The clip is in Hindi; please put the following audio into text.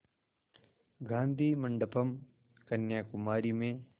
गाधी मंडपम् कन्याकुमारी में